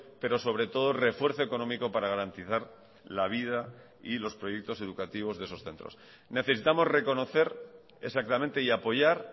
pero sobre todo refuerzo económico para garantizar la vida y los proyectos educativos de esos centros necesitamos reconocer exactamente y apoyar